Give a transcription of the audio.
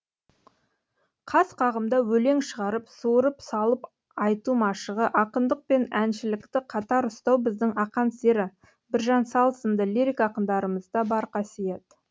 қас қағымда өлең шығарып суырып салып айту машығы ақындық пен әншілікті қатар ұстау біздің ақансері біржан сал сынды лирик ақындарымызда бар қасиет